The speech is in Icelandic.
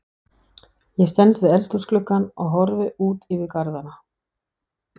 Ég stend við eldhúsgluggann og horfi út yfir garðana.